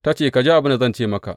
Ta ce, Ka ji abin da zan ce maka.